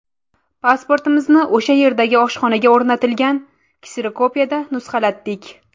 Pasportimizni o‘sha yerdagi oshxonaga o‘rnatilgan kserokopiyada nusxalatdik.